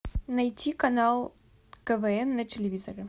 найти канал квн на телевизоре